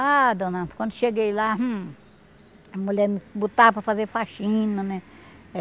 Ah, dona, quando cheguei lá, hum... A mulher me botava para fazer faxina, né?